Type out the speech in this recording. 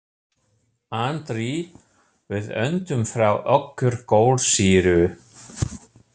Andri: Við öndum frá okkur kolsýru.